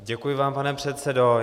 Děkuji vám, pane předsedo.